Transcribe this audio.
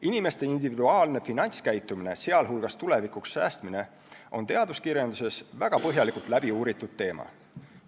Inimeste individuaalne finantskäitumine, sh tulevikuks säästmine, on teaduskirjanduses väga põhjalikult läbi uuritud teema.